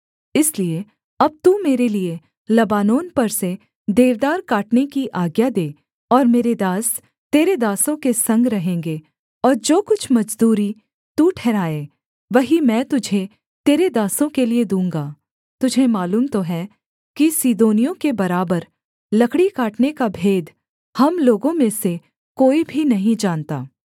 इसलिए अब तू मेरे लिये लबानोन पर से देवदार काटने की आज्ञा दे और मेरे दास तेरे दासों के संग रहेंगे और जो कुछ मजदूरी तू ठहराए वही मैं तुझे तेरे दासों के लिये दूँगा तुझे मालूम तो है कि सीदोनियों के बराबर लकड़ी काटने का भेद हम लोगों में से कोई भी नहीं जानता